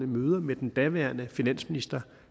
møder med den daværende finansminister